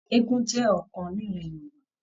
Eégún jẹ ọkan nilẹ̀ Yorùbá.